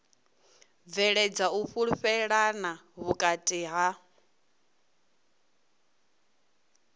bveledza u fhulufhelana vhukati ha